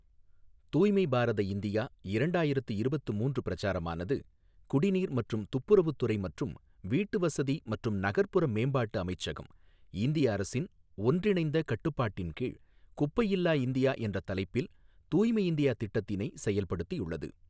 தூய்மை பாரத இந்தியா இரண்டாயிரத்து இருபத்து மூன்று பிரச்சாரமானது குடிநீர் மற்றும் துப்புரவுத் துறை மற்றும் வீட்டுவசதி மற்றும் நகர்புற மேம்பாட்டு அமைச்சகம், இந்திய அரசின் ஒன்றிணைந்த கட்டுப்பாட்டின்கீழ் குப்பையில்லா இந்தியா என்ற தலைப்பில் தூய்மை இந்தியா திட்டத்தினை செயல்படுத்தியுள்ளது.